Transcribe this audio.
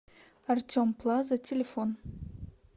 артем плаза телефон